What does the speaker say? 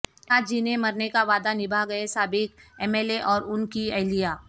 ساتھ جینے مرنے کا وعدہ نبھا گئے سابق ایم ایل اے اور ان کی اہلیہ